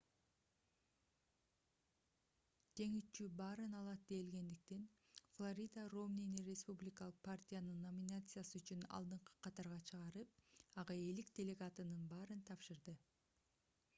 жеңүүчү баарын алат делгендиктен флорида ромнини республикалык партиянын номинациясы үчүн алдыңкы катарга чыгарып ага 50 делегатынын баарын тапшырды